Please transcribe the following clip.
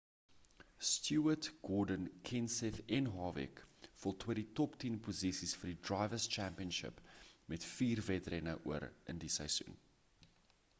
stewart gordon kenseth en harvick voltooi die top tien posisies vir die drivers' championship met vier wedrenne oor in die seisoen